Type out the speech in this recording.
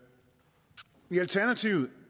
i alternativet